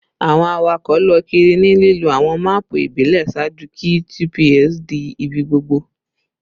Awọn awakọ lọ kiri ni lilo awọn maapu ibile ṣaaju ki GPS di ibigbogbo